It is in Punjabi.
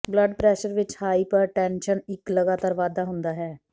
ਬਲੱਡ ਪ੍ਰੈਸ਼ਰ ਵਿੱਚ ਹਾਈਪਰਟੈਨਸ਼ਨ ਇੱਕ ਲਗਾਤਾਰ ਵਾਧਾ ਹੁੰਦਾ ਹੈ